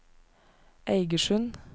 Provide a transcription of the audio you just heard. Eigersund